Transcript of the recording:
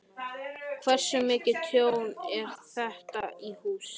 Þóra: Hversu mikið tjón er þetta á húsinu?